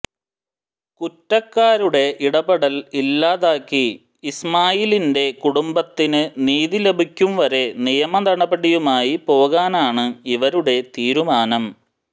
കുറ്റക്കാരുടെ ഇടപെടൽ ഇല്ലാതാക്കി ഇസ്മായിലിന്റെ കുടുംബത്തിന് നീതിലഭിക്കുംവരെ നിയമ നടപടിയുമായി പോകാനാണ് ഇവരുടെ തീരുമാനം